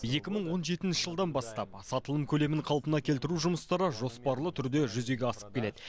екі мың он жетінші жылдан бастап сатылым көлемін қалпына келтіру жұмыстары жоспарлы түрде жүзеге асып келед